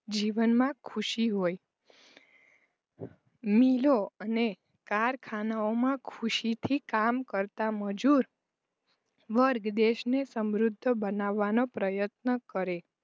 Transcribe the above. જીવનમાં ખુશી હોય મિલો અને કારખાનાઓમાં ખુશીથી કામ કરતા મજુર વર્ગ દેશને સમૃદ્ધ બનાવવાનો પ્રયત્ન કરે